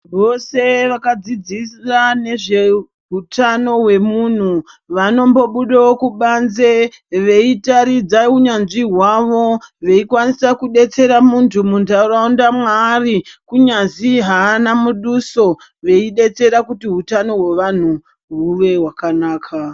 Vose vakadzidzira nezvehutano hwemuntu vanombobudawo kubanze veitaridza unyanzvi hwavo veikwanisa kudetsera muntu muntaraunda mwaari kunyazi haana muduso, veidetsera kuti hutano hwevantu hwuve hwakanaka.